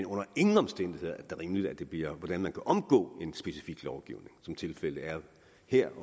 under ingen omstændigheder rimeligt at det bliver ud fra hvordan man kan omgå en specifik lovgivning som tilfældet er her